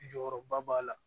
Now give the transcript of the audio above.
Jɔyɔrɔba b'a la